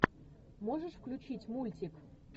можешь включить мультик